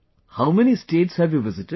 How many states have you visited